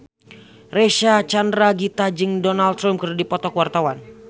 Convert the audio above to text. Reysa Chandragitta jeung Donald Trump keur dipoto ku wartawan